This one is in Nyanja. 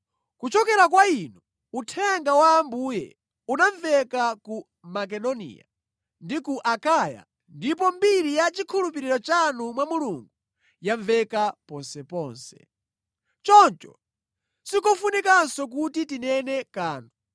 Kuchokera kwa inu, uthenga wa Ambuye unamveka ku Makedoniya ndi ku Akaya ndipo mbiri ya chikhulupiriro chanu mwa Mulungu yamveka ponseponse. Choncho sikofunikanso kuti tinene kanthu,